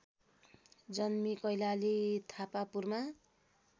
जन्मी कैलाली थापापुरमा